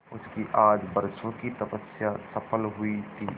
उसकी आज बरसों की तपस्या सफल हुई थी